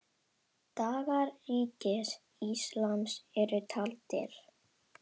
Dagar Ríkis íslams eru taldir.